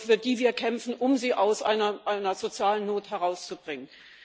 für die wir kämpfen, um sie aus einer sozialen Not herauszubringen.